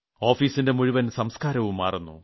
ഓഫീസിന്റെ മുഴുവൻ സംസ്കാരവും മാറുന്നു